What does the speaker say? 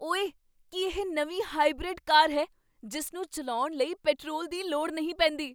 ਓਏ! ਕੀ ਇਹ ਨਵੀਂ ਹਾਈਬ੍ਰਿਡ ਕਾਰ ਹੈ ਜਿਸ ਨੂੰ ਚੱਲਾਉਣ ਲਈ ਪੈਟਰੋਲ ਦੀ ਲੋੜ ਨਹੀਂ ਪੈਂਦੀ ?